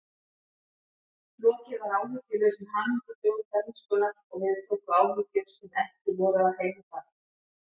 Lokið var áhyggjulausum hamingjudögum bernskunnar og við tóku áhyggjur sem ekki voru af heimi barna.